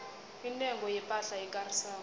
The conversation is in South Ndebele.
intengo yepahla ekarisako